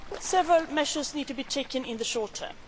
Several measures need to be taken in the short